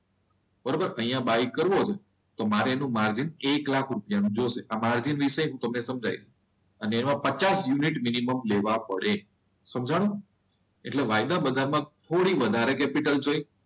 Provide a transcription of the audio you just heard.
બરોબર અહીંયા બાય કરો છે. તો મારે એનું માર્જિન એક લાખ નું રૂપિયાનું માર્જિન જોશે વિશે હું તમને સમજાવીશ અને એવા પચાસ યુનિટ મિનિમમ લેવા પડે સમજાણું. એટલે વાયદા બધામાં થોડી વધારે કેપિટલ જોઈ,